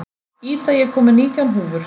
Ida, ég kom með nítján húfur!